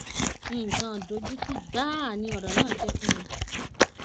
nǹkan ìdojútì gbáà ni ọrọ náà jẹ fún mi